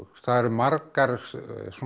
það eru margar svona